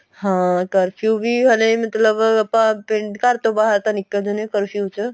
ਹਾਂ ਕਰਫਿਊ ਵੀ ਹਲੇ ਮਤਲਬ ਆਪਾਂ ਪਿੰਡ ਘਰ ਤੋਂ ਬਾਹਰ ਤਾਂ ਨਿਕਲ ਦੇ ਨੇ ਕਰਫਿਊ ਚ